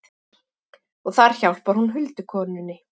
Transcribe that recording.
Og þar hjálpar hún huldukonunni.